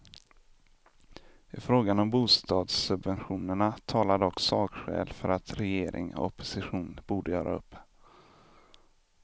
I frågan om bostadssubventionerna talar dock sakskäl för att regering och opposition borde göra upp.